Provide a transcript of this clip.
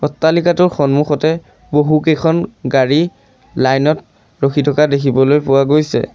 অট্টালিকাটোৰ সন্মুখতে বহুকেইখন গাড়ী লাইন ত ৰখি থকা দেখিবলৈ পোৱা গৈছে।